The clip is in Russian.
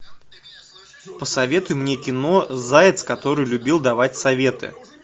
посоветуй мне кино заяц который любил давать советы